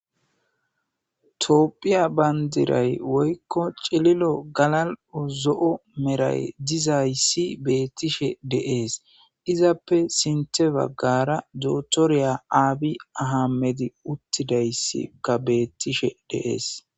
Tophiya pandiray woyko cililo galal'o zo'o medhoy dizaysi betishe de'es izape sintha bagara dokitera abi aymedkka utidaysi betes